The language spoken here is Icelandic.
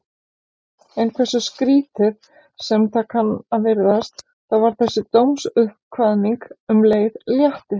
En hversu skrýtið sem það kann að virðast, þá var þessi dómsuppkvaðning um leið léttir.